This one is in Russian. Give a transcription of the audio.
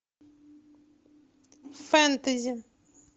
фэнтези